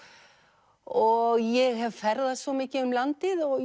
og ég hef ferðast svo mikið um landið og